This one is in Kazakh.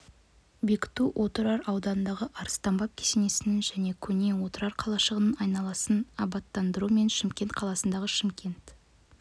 бекіту отырар ауданындағы арыстанбаб кесенесінің және көне отырар қалашығының айналасын абаттандыру мен шымкент қаласындағы шымкент